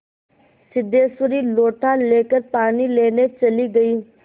सिद्धेश्वरी लोटा लेकर पानी लेने चली गई